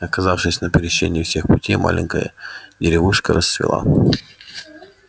оказавшись на пересечении всех путей маленькая деревушка расцвела